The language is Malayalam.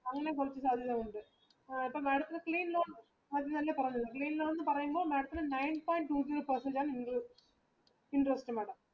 അങ്ങനെ കുറച്ച് സാധ്യതകളുണ്ട് അപ്പൊ madam ത്തിന് എന്നല്ല പറഞ്ഞത് ലോൺ എന്ന പറയുമ്പോൾ madam ത്തിന് nine point two three percentage ആണ് interest madam